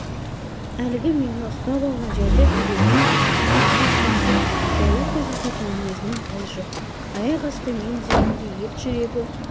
әлгі мені ұстап алған жерде төбемнен қарға шаншып қорлық көрсететін мінезінен із жоқ аяқ асты мен дегенде ет жүрегі